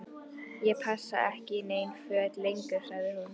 Ég passa ekki í nein föt lengur sagði hún.